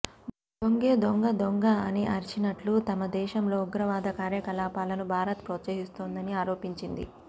దొంగే దొంగ దొంగ అని అరిచినట్టు తమ దేశంలో ఉగ్రవాద కార్యకలాపాలను భారత్ ప్రోత్సహిస్తోందని ఆరోపించింది